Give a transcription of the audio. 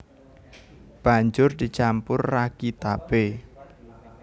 Banjur dicampur ragi tapé